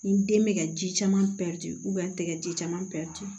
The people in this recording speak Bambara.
Ni den bɛ ka ji caman pɛri n tɛgɛ ji caman pɛrɛn tɛ